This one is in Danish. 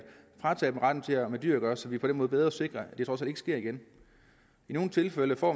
fratage dem retten til at have med dyr at gøre så vi på den måde bedre sikrer at det trods alt ikke sker igen i nogle tilfælde får